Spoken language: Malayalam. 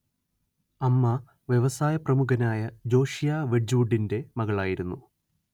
അമ്മ വ്യവസായപ്രമുഖനായ ജോഷിയാ വെഡ്ജ്‌വുഡിന്റെ മകളായിരുന്നു